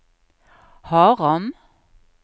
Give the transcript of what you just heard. Haram